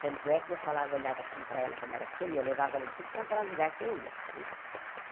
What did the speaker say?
Tanto é que eu falava olhava assim para ela quando era pequena e eu levava ela em tudo quanto era lugar que eu ia né.